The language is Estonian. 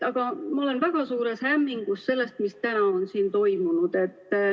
Aga ma olen väga suures hämmingus sellest, mis täna on siin toimunud.